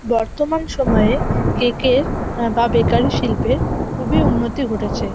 বর্তমান সময়ে কেকের আহ বা বেকারির শিল্পের খুবই উন্নতি ঘটেছে।